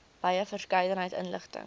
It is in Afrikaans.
wye verskeidenheid inligting